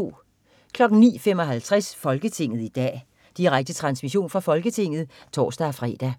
09.55 Folketinget i dag. Direkte transmission fra Folketinget (tors-fre)